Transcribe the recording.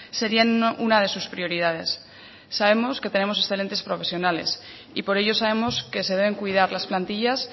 serían una de sus prioridades sabemos que tenemos excelentes profesionales y por ello sabemos que se deben cuidar las plantillas